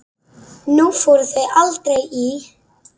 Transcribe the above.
Nú fóru þau aldrei í